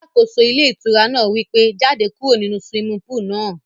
Alákóso ilé ìtura náà wí pé, jáde kúrò nínu swimming pool náà